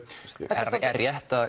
er það rétt að